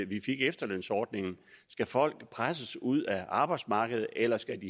vi fik efterlønsordningen skal folk presses ud af arbejdsmarkedet eller skal